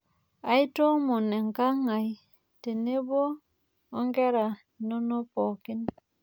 Aitoomono enkang' ai tenebo onkera inono pooki.